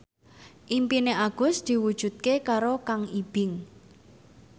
impine Agus diwujudke karo Kang Ibing